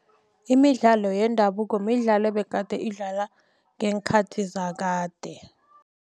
Imidlalo yendabuko midlalo ebegade idlalwa ngeenkhathi zakade.